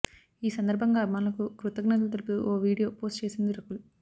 ఈ సందర్భంగా అభిమానులకు కృతజ్ఞతలు తెలుపుతూ ఓ వీడియో పోస్ట్ చేసింది రకుల్